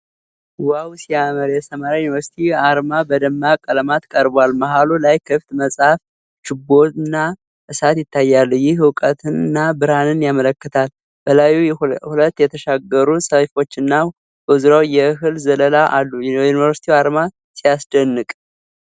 ዋው ሲያምር! የሰመራ ዩኒቨርሲቲ አርማ በደማቅ ቀለማት ቀርቧል። መሃሉ ላይ ክፍት መጽሐፍ፣ ችቦና እሳት ይታያሉ። ይህ እውቀትንና ብርሃንን ያመለክታል። በላዩ ሁለት የተሻገሩ ሰይፎችና በዙሪያው የእህል ዘለላ አሉ። የዩኒቨርሲቲው አርማ ሲያስደንቅ!